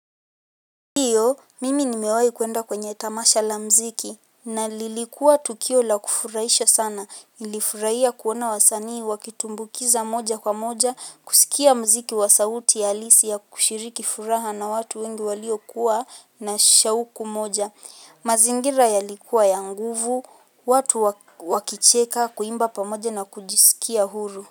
Mimi nimewai kuenda kwenye tamasha la mziki na lilikuwa tukio la kufuraisha sana ilifuraia kuwana wasanii wakitumbukiza moja kwa moja kusikia mziki wa sauti alisi ya kushiriki furaha na watu wengi walio kuwa na shauku moja mazingira yalikuwa ya nguvu watu wakicheka kuimba pamoja na kujisukia huru.